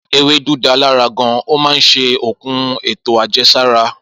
Ewédú da lára gan, ó máa ń ṣe okun eto ajẹsara.